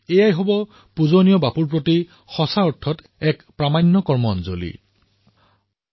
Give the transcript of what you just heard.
এয়াই বাপুৰ প্ৰতি সুন্দৰ প্ৰকৃত আৰু প্ৰামাণিক শ্ৰদ্ধাঞ্জলি হব